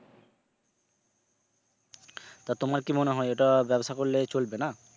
তো তোমার কি মনে হয় এটা ব্যবসা করলে চলবে না?